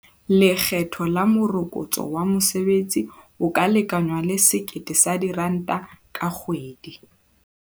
Lekgetho la Morokotso wa Mosebetsi o ka lekangwang le R1 000 ka kgwedi.